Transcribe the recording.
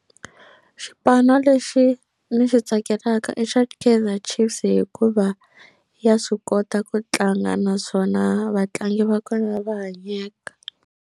Xipanu lexi ni xi tsakelaka i xa Kaizer Chiefs hikuva ya swi kota ku tlanga naswona vatlangi va kona va hanyeka.